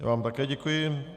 Já vám také děkuji.